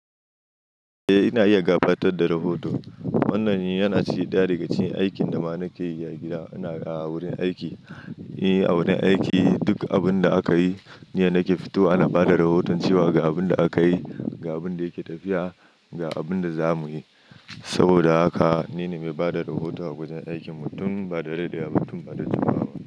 Eh ina iya gabatar da rahoto. Wannan yana ciken da ga cikin aikin da mana ke yi a gida. Ina a wurin aiki, eh a wurin aiki duk abun da aka yi ne nake fito ana bada rahoton cewa ga abun da aka yi, ga abun da yake tafiya, ga abun da za mu yi. Saboda haka nine mai bada rahoto a wajan aikinmu tun ba da dade waba tun bada jimawa ba.